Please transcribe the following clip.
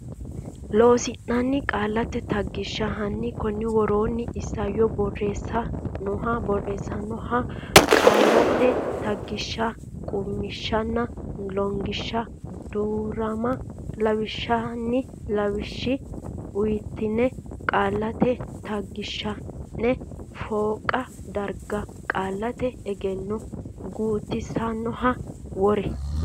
Loossinanni Qaallate Taggishsha hanni konni woroonni Isayyo Borreessa nooha qaallate taggishsha qummishshanna Lollonganna Duu rama lawishsha ini lawishshi uynoonni qaallate taggishsha ine fooqa darga Qaallate Egenno gutisannoha worre.